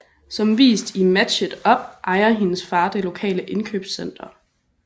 Som vist i Match It Up ejer hendes far det lokale indkøbscenter